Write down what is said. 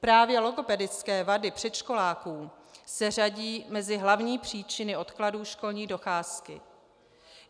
Právě logopedické vady předškoláků se řadí mezi hlavní příčiny odkladů školní docházky.